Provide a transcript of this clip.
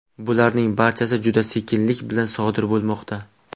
Bularning barchasi juda sekinlik bilan sodir bo‘lmoqda.